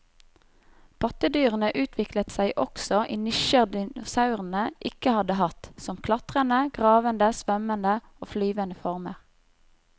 Pattedyrene utviklet seg også i nisjer dinosaurene ikke hadde hatt, som klatrende, gravende, svømmende og flyvende former.